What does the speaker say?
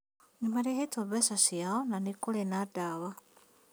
Nĩmarĩhĩtwo mbeca ciao na kũrĩ na ndawa